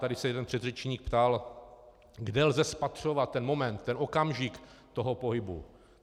Tady se jeden předřečník ptal, kde lze spatřovat ten moment, ten okamžik toho pohybu.